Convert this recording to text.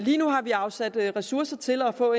lige nu har vi afsat ressourcer til at få